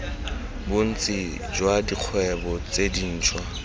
bontsi jwa dikgwebo tse dintshwa